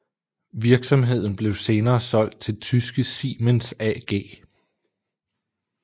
Virksomheden blev senere solgt til tyske Siemens AG